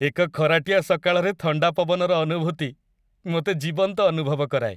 ଏକ ଖରାଟିଆ ସକାଳରେ ଥଣ୍ଡା ପବନର ଅନୁଭୂତି ମୋତେ ଜୀବନ୍ତ ଅନୁଭବ କରାଏ।